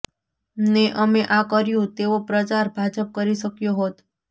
ને અમે આ કર્યું તેવો પ્રચાર ભાજપ કરી શક્યો હોત